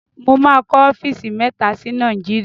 Mo máa kọ ọ́fíìsì mẹ́ta sí Nàìjíríà.